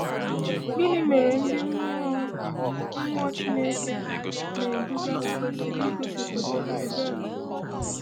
Gịnị mere ndị mmụọ mmụọ Chineke na-eduga kwesịrị igosipụta ebere?